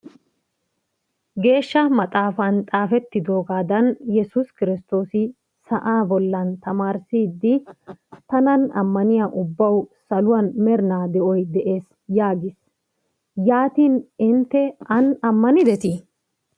Geeshsha maxaafan xaafettidoogaadan yesuus kiristtoosi sa'aa bollan tamaarissiiddi tanan ammaniya ubbawu saluwan merinaa de'oy des yaagis. Yaatin intte an ammanidetii?